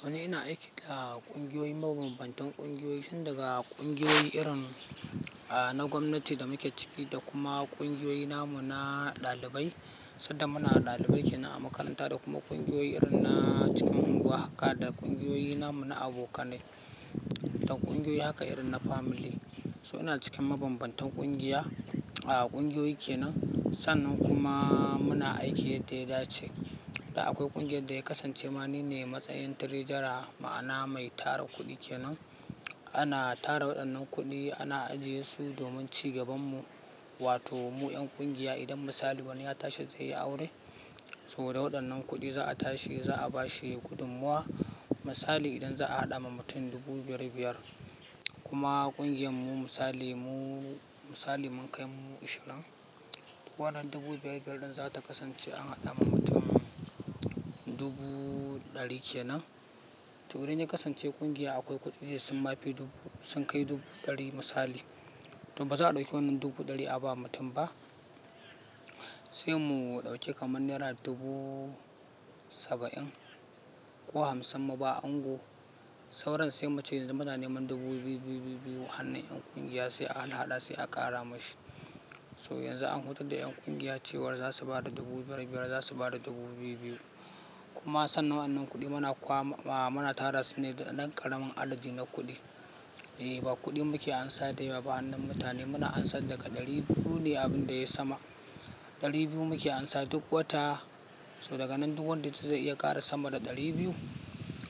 To ni ina aiki a ƙungiyoyi mabanbantan ƙungiyoyi tun daga ƙungiyoyi inri na gwamnati da muke ciki da kuma namu na ɗalibai sanda muna ɗalibai kenan a makaranta da kuma ƙungiyoyi irin na cikin anguwa haka da ƙungiyoyi namu na abokanai da ƙungiyoyi haka irin na family. So ina cikin mabambantan ƙungiya, a ƙungiyoyi kenan, sannan kuma muna aiki yadda ya dace. Da akwai ƙungiyar da ya kasance ma ni ne matsayin treasurer, ma'ana mai tara kuɗi kenan. Ana tara waɗannan kuɗi, ana ajiye su domin cigaban mu, wato mu 'yan ƙungiya idan misali wani ya tashi zai yi aure, so da waɗannan kuɗi za a tashi za a ba shi gudunmuwa. Misali idan za a haɗa ma mutum dubu biyar-biyar, kuma ƙungiyar mu misali mu misali mun kai mu ashirin, wannan dubu biyar-biyar ɗin za ta kasance an haɗa ma mutum dubu ɗari kenan. To idan ya kasance ƙungiya akwai kuɗi da sun ma fi dubu, sun kai dubu ɗari misali, to ba za a ɗauki wannan dubu ɗari a ba mutum ba. Sai mu ɗauki kamar naira dubu saba'in ko hamsin mu ba ango sauran sai mu ce yanzu muna neman dubu biyu-biyu-biyu-biyu a hannun 'yan ƙungiya sai a har haɗa sai a ƙara mashi. To yanzu an hutar da 'yan ƙungiya cewa za su ba da dubu biyar-biyar, za su ba da dubu biyu-biyu. Kuma sannan wannan kuɗi muna kwama, a muna tara su ne da ɗan ƙaramin adadi na kuɗi. Eh, ba kuɗi muke amsa da yawa ba a hannun mutane, muna amsar daga ɗari biyu ne abin da yai sama ɗari biyu muke amsa duk wata, to daga nan duk wanda yace zai iya ƙara sama da ɗari biyu,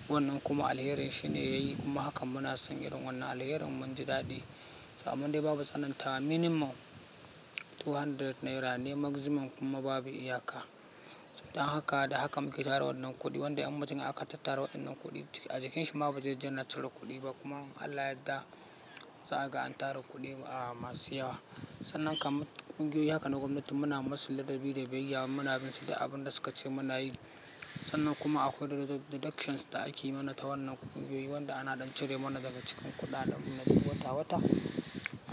to wannan kuma alherin shi ne yayi, kuma hakan muna son irin wannan alherin, mun ji daɗi. Amman dai babu tsanantawa, minimum two hundred naira ne maximum kuma babu iyaka. Dan haka, da haka muke tara waɗannan kuɗi, wanda in mutum aka tattara waɗannan kuɗi a jikin shi ma ba zai je yana cire kuɗi ba kuma in Allah ya yarda za a ga an tara kuɗi a masu yawa. Sannan kamar ƙungiyoyi haka na gwamnati muna musu ladabi da biyayya, muna bin su da abinda suka ce suna so. Sannan kuma akwai deductions da ake mana ta wannan ƙungiyoyi, wanda ana ɗan cire mana daga cikin kuɗaɗen mu na wata-wata,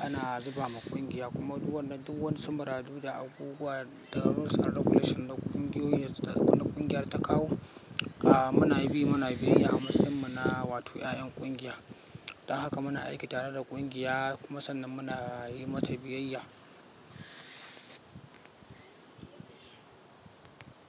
ana zuba ma ƙungiya. Kuma duk wannan duk waƴansu muradu da abubuwa da rules and regulations da ƙungiyoyi da ƙungiyar ta kawo, a muna bi muna biyayya a matsayin mu na, wato 'ya'yan ƙungiya. Dan haka muna aiki tare da ƙungiya kuma sannan muna yi mata biyayya.